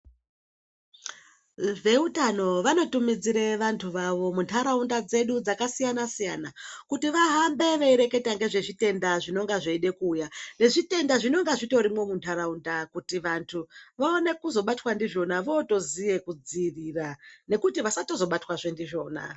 Veutano vanotumidzire vantu vavo muntaraunda dzedu dzakasiyana-siyana, kuti vahambe veireketa ngezvezvitenda zvinonga zveide kuuya, nezvitenda zvinenga zvitorimwo muntaraunda ,kuti vantu vaone uzobatwa ndizvona vootoziye kudziirira ,nekuti vasatozobatwa zve ndizvona .